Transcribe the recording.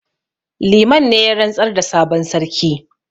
Liman ne ya rantsar da sabon sarki